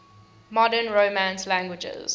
modern romance languages